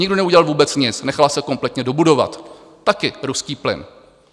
Nikdo neudělal vůbec nic, nechal se kompletně dobudovat, taky ruský plyn.